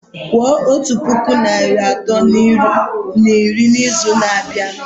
Kwuo otu puku naịra atọ na iri n'izu na-abịa!